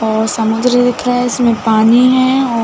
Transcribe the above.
और समुन्द्र दिख रहा है इसमें पानी है और--